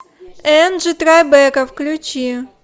энджи трайбека включи